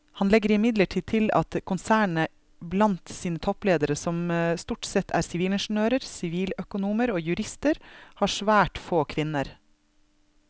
Han legger imidlertid til at konsernet blant sine toppledere som stort sette er sivilingeniører, siviløkonomer og jurister har svært få kvinner.